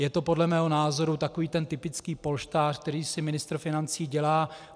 Je to podle mého názoru takový ten typický polštář, který si ministr financí dělá.